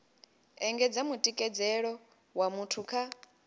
engedza mutikedzelo wa muthu kha